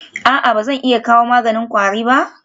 A'a ba zan iya kawo maganin kwari ba?